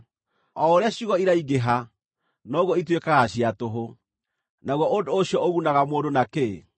O ũrĩa ciugo iraingĩha, noguo ituĩkaga cia tũhũ, naguo ũndũ ũcio ũgunaga mũndũ na kĩ?